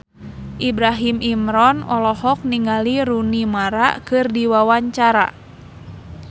Ibrahim Imran olohok ningali Rooney Mara keur diwawancara